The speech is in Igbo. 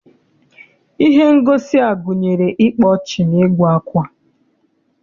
Ihe ngosi a gụnyere ịkpa ọchị na ịgụ akwa.